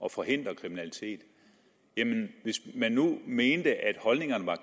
at forhindre kriminalitet hvis man nu mente at holdningerne var